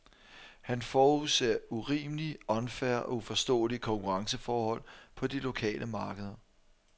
Han forudser urimelige, unfair og uforståelige konkurrenceforhold på de lokale markeder.